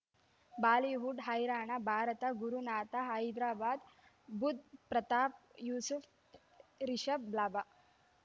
Bollywood ಹೈರಾಣ ಭಾರತ ಗುರುನಾಥ ಹೈದರಾಬಾದ್ ಬುಧ್ ಪ್ರತಾಪ್ ಯೂಸುಫ್ ರಿಷಬ್ ಲಾಭ